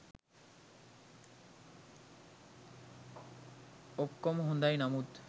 ඔක්කොම හොඳයි නමුත්